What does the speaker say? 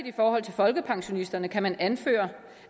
folkepensionisterne kan man anføre